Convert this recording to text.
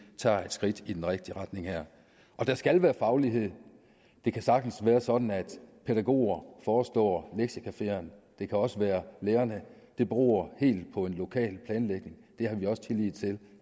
tager et skridt i den rigtige retning her der skal være faglighed det kan sagtens være sådan at pædagoger forestår lektiecafeerne det kan også være lærere det beror helt på en lokal planlægning det har vi også tillid til